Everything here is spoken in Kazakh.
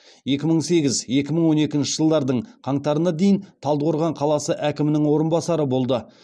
екі мың сегіз екі мың он екінші жылдың қаңтарына дейін талдықорған қаласы әкімінің орынбасары болды